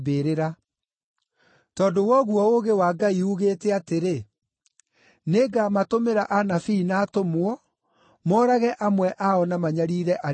Tondũ wa ũguo ũũgĩ wa Ngai uugĩte atĩrĩ, ‘Nĩngamatũmĩra anabii na atũmwo, moorage amwe ao na manyariire arĩa angĩ.’